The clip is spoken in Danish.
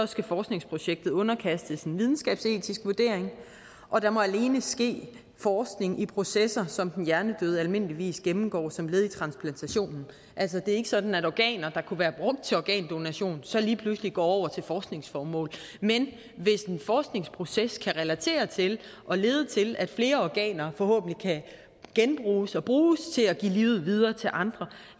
skal forskningsprojektet underkastes en videnskabsetisk vurdering og der må alene ske forskning i processer som den hjernedøde almindeligvis gennemgår som led i transplantationen altså det er ikke sådan at organer der kunne være brugt til organdonation så lige pludselig går over til forskningsformål men hvis en forskningsproces kan relateres til og lede til at flere organer forhåbentlig kan genbruges og bruges til at give livet videre til andre